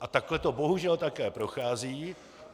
A takhle to bohužel také prochází.